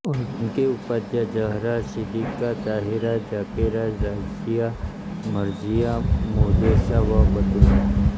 उनकी उपाधियां ज़हरा सिद्दीक़ा ताहिरा ज़ाकिरा राज़िया मरज़िया मुहद्देसा व बतूल हैं